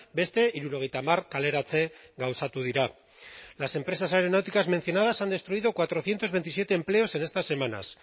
beste hirurogeita hamar kaleratze gauzatu dira las empresas aeronáuticas mencionadas han destruido cuatrocientos veintisiete empleos en estas semanas